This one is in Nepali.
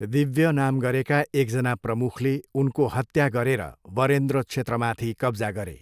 दिव्य नाम गरेका एकजना प्रमुखले उनको हत्या गरेर वरेन्द्र क्षेत्रमाथि कब्जा गरे।